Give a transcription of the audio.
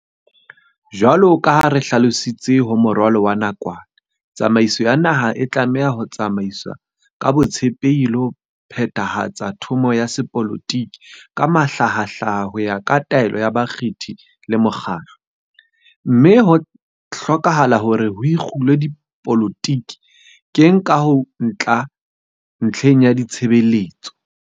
Jwalo ka ha re hlalositse ho moralo wa nakwana, tsamaiso ya naha e tlameha ho tsamaiswa ka botshepehi le ho phethahatsa thomo ya sepolotiki ka mahlahahlaha ho ya ka taelo ya bakgethi le mokgatlo, mme ho hlokahala hore ho ikgulwe dipoloti keng ha ho tla ntlheng ya ditshebeletso.